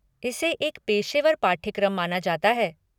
इसे एक पेशेवर पाठ्यक्रम माना जाता है।